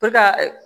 ka